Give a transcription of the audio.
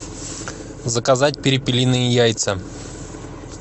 заказать перепелиные яйца